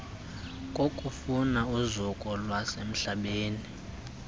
kokufuna uzuko lwasemhlabeni